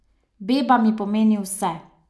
Beba mi pomeni vse.